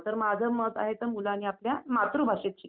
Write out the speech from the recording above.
हो दरवर्षी एकवेळ भरतं असते